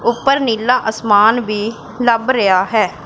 ऊपर नीला असमान भी लब रया है।